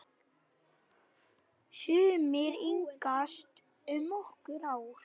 Sumir yngjast um nokkur ár.